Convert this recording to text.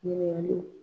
Ɲininkaliw